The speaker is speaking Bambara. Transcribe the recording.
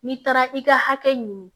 N'i taara i ka hakɛ ɲini